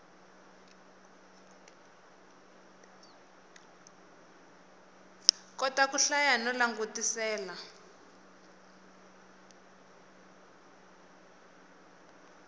kota ku hlaya no langutisela